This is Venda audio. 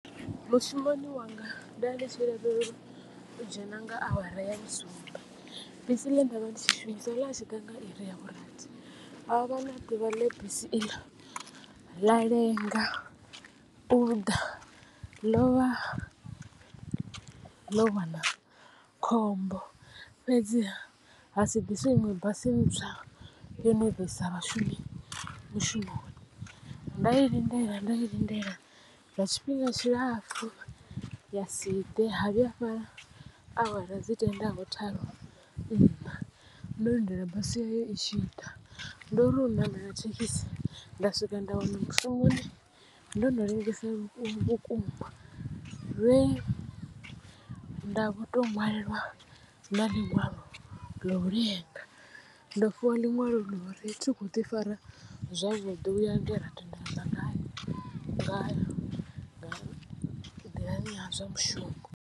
Mushumoni wanga nda ndi tshi lavhelelwa u dzhena nga awara ya vhusumbe bisi ḽe nda vha ndi tshi shumisa ḽa tshi ḓa nga iri ya vhurathi ha vha na ḓuvha ḽe bisi iḽo ḽa lenga uḓa ḽo vha ḽo wana khombo fhedziha ha si ḓiswe iṅwe basi ntswa yo no ḓo isa vhashumi mushumoni. Nda i lindela nda i lindela lwa tshifhinga tshilapfu ya si ḓe ha vhuya ha fhela awara dzi tenda ho tharu nṋa ndo lindela basi eyi i tshi ḓa. Ndo ri u ṋamela thekhisi nda swika nda wana mushumoni ndo no lengesa vhukuma vhe nda vho to ṅwalelwa na ḽiṅwalo ḽa u lenga ndo fhiwa ḽiṅwalo ḽa uri thi kho ḓi fara zwavhuḓi uya nga hera tendelana ngayo nḓilani ha zwa mushumo.